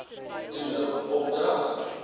toe nou opdrag